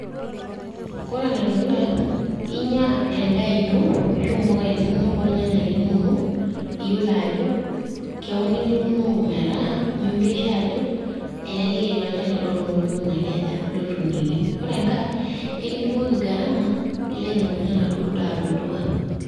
Ore ene dukuya, inya endaa ino, oomboka inono olnyanya linono, iyiolo ajo kewon ituunoko metaa miureso ajo elelek etii olchani torono loikunaki aje, lotuunieki. Ore engai, ekidung'oki gharama nilo ainyang'unye enaduo daa tolduka.